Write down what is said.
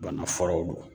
Bana furaw don